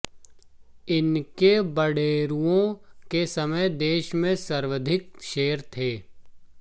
इनके बडेरूओं के समय देश में सर्वाधिक शेर थे